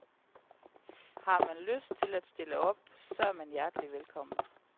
Har man lyst til at stille op, så er man hjertelig velkommen.